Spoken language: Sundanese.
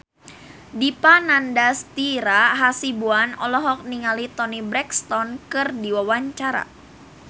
Dipa Nandastyra Hasibuan olohok ningali Toni Brexton keur diwawancara